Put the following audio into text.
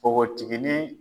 Npogotiginin